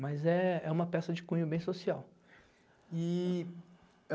Mas é é uma peça de cunho bem social. E